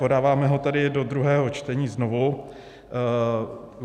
Podáváme ho tedy do druhého čtení znovu.